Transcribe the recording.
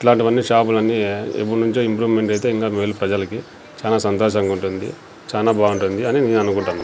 ఇట్లాంటివన్నీ షాపులన్నీ ఎప్పుడ్నుంచో ఇంప్రూవ్మెంట్ అయితే ఇంకా మేలు ప్రజలకి చానా సంతోషంగుంటుంది చానా బావుంటుంది అని నేను అనుకుంటన్నా.